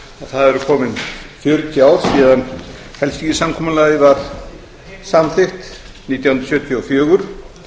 það eru komin fjörutíu ár síðan helsinkisamkomulagið var samþykkt nítján hundruð sjötíu og fjögur